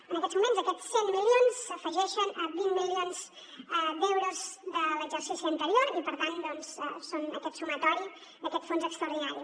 en aquests moments aquests cent milions s’afegeixen a vint milions d’euros de l’exercici anterior i per tant doncs són aquest sumatori d’aquest fons extraordinari